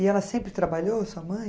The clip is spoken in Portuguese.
E ela sempre trabalhou, sua mãe?